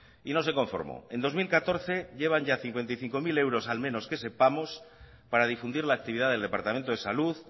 y no se conformó en dos mil catorce llevan ya cincuenta y cinco mil euros al menos que sepamos para difundir la actividad del departamento de salud